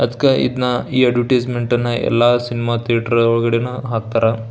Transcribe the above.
ಅದ್ಕ ಇದನ್ನ ಈ ಅರ್ಟಿಸೆಮೆಂಟ್ನ ಎಲ್ಲ ಸಿನಿಮಾ ಥಿಯೇಟರ್ ಒಳಗಡೇನು ಹಾಕ್ತಾರಾ --